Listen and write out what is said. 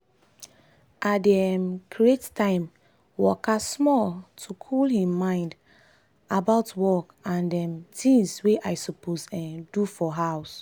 i dey um create time waka small to cool him mind about work and um tings wey i suppose um do for house.